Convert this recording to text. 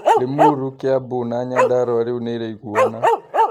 Limuru, Kiambu na Nyandarua rĩu ni iraiguana.